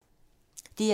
DR2